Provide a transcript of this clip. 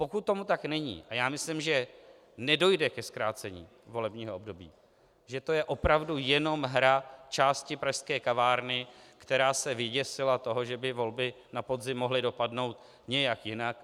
Pokud tomu tak není, a já myslím, že nedojde ke zkrácení volebního období, že to je opravdu jenom hra části pražské kavárny, která se vyděsila toho, že by volby na podzim mohly dopadnout nějak jinak.